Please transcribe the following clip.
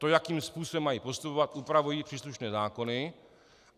To, jakým způsobem mají postupovat, upravují příslušné zákony.